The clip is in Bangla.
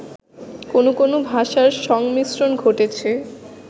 কোন কোন ভাষার সংমিশ্রন ঘটেছে